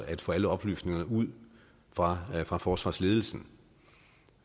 at få alle oplysningerne ud fra fra forsvarsledelsen